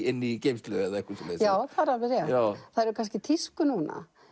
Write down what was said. inn í geymslu eða eitthvað svoleiðis já það er alveg rétt það er er kannski í tísku núna